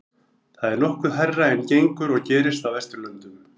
þetta er nokkuð hærra en gengur og gerist á vesturlöndum